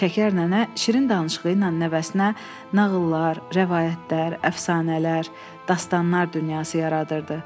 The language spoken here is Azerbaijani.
Şəkər nənə şirin danışığı ilə nəvəsinə nağıllar, rəvayətlər, əfsanələr, dastanlar dünyası yaradırdı.